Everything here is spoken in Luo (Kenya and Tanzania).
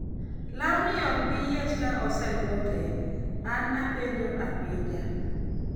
lawni ok bi yiech ka aselwoke?,an apenjo apenja